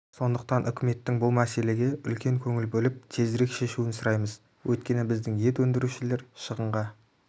сондықтан үкіметтің бұл мәселеге үлкен көңіл бөліп тезірек шешуін сұраймыз өйткені біздің ет өндірушілер шығынға